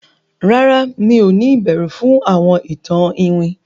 ràrá mi'o ni ìbẹrù fún àwọn ìtàn iwin?